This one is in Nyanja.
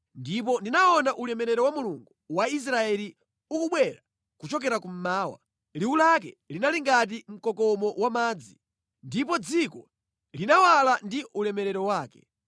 ndipo ndinaona ulemerero wa Mulungu wa Israeli ukubwera kuchokera kummawa. Liwu lake linali ngati mkokomo wamadzi, ndipo dziko linawala ndi ulemerero wake.